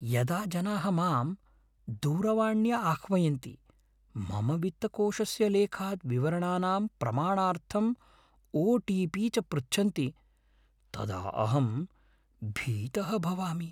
यदा जनाः माम् दूरवाण्या आह्वयन्ति मम वित्तकोषस्य लेखात् विवरणानां प्रमाणार्थम् ओटिपी च पृच्छन्ति तदा अहं भीतः भवामि।